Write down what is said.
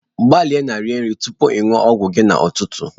Gbalịa na-iriri nri tupu ị ṅụọ ọgwụ gị n'ụtụtụ.